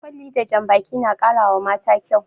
Kwalli da jan baki na ƙara wa mata kyau